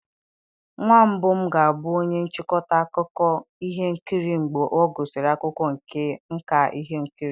Nwa mbụ m ga-abụ onye nchịkọta akụkọ ihe nkiri mgbe ọ gụsịrị akwụkwọ nka ihe nkiri